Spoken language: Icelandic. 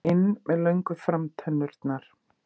inn með löngu framtennurnar.